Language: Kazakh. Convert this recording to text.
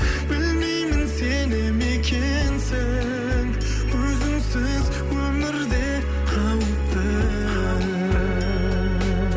білмеймін сене ме екенсің өзіңсіз өмір де қауіпті